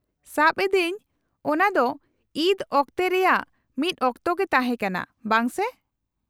-ᱥᱟᱵ ᱮᱫᱟᱹᱧ ᱚᱱᱟ ᱫᱚ ᱤᱫ ᱚᱠᱛᱮ ᱨᱮᱭᱟᱜ ᱢᱤᱫ ᱚᱠᱛᱮ ᱜᱮ ᱛᱟᱦᱮᱸ ᱠᱟᱱᱟ, ᱵᱟᱝ ᱥᱮ ?